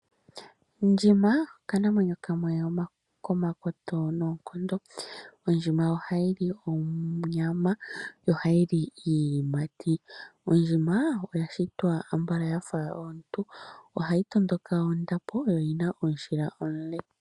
Ndjima okanamwenyo kamwe komakoto noonkondo. Ondjima oha yi onyama yo oha yi li iiyimati. Ondjima oya shitwa ambala yafa omuntu, oha yi tondoka ondapo, yo oyina omushila omule.